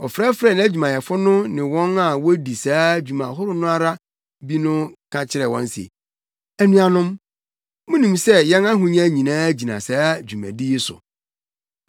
Ɔfrɛfrɛɛ nʼadwumayɛfo no ne wɔn a wodi saa dwuma ahorow no ara bi no ka kyerɛɛ wɔn se, “Anuanom, munim sɛ yɛn ahonya nyinaa gyina saa dwumadi yi so.